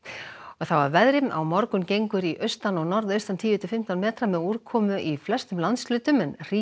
þá að veðri á morgun gengur í austan og norðaustan tíu til fimmtán metra með úrkomu í flestum landshlutum en